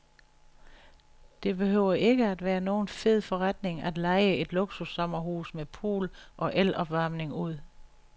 Det behøver ikke at være nogen fed forretning at leje et luksussommerhus med pool og elopvarmning ud.